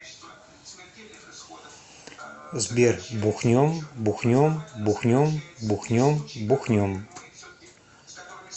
сбер бухнем бухнем бухнем бухнем бухнем